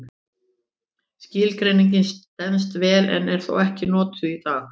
Skilgreiningin stenst vel en er þó ekki notuð í dag.